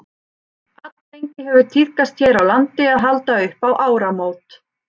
alllengi hefur tíðkast hér á landi að halda upp á áramót